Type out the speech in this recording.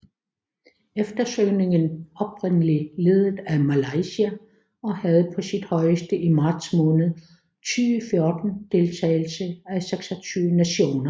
Eftersøgningen oprindeligt ledet af Malaysia og havde på sit højeste i marts måned 2014 deltagelse af 26 nationer